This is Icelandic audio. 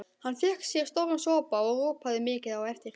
Hann fékk sér stóran sopa og ropaði mikið á eftir.